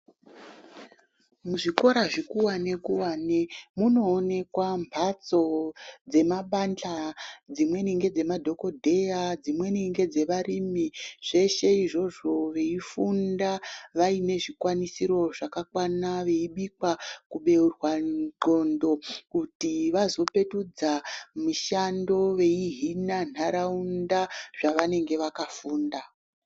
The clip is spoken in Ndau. Muzvikora zvikuwani kuwani munoonekwa mphatso dzemabanja dzimweni ngedzemadhokodheya dzimweni ngedzevarimi zveshe izvozvo veifunda vaine zvikwanisiro zvakakwana veibikwa kubeurwa ndxondo kuti vazopetudza mishando veihina ntaraunda zvavanenge vakafunda.